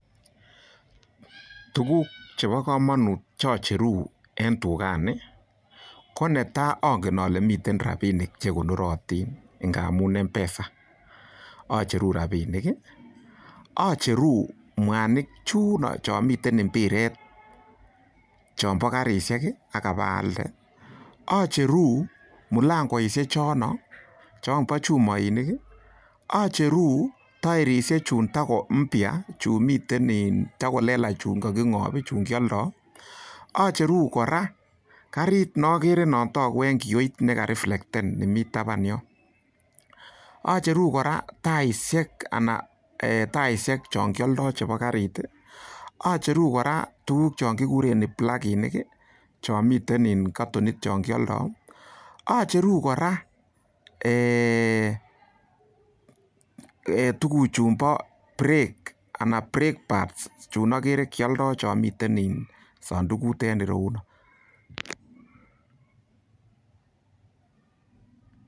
Tuguk chebo komonut che acheru en tugani ko netai ongen ole miten rabinik che konorotin ngamun M-Pesa, acheru rabinik, acheru mwanik chuno chon miten mbiret chombo karishek ak abaalde acheru mulangoishek chono chombo chumoinik acheru tairishek chun tago mpya chun miten takolelach chun koging'op chun kioldo, acheru kora karit ne ogere non togu en kioit nekareflecten ni mi taban yon acheru kora taishek ana taishek chon kioldo chebo karit acheru kora tuguk chon kiguren pluginik chon miten katonit chon kioldo acheru kora tuguchunbo brake anan brake pads chun ogere kyoldo chon miten sondukut en ireyuno.